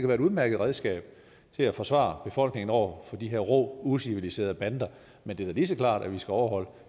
være et udmærket redskab til at forsvare befolkningen over for de her rå uciviliserede bander men det er da lige så klart at vi skal overholde